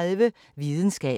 DR P3